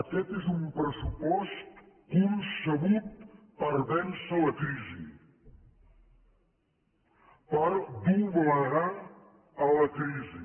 aquest és un pressupost concebut per vèncer la crisi per doblegar la crisi